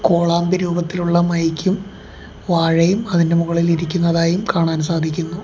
കോളാമ്പി രൂപത്തിലുള്ള മൈക്കും വാഴയും അതിന്റെ മുകളിൽ ഇരിക്കുന്നതായിയും കാണാൻ സാധിക്കുന്നു.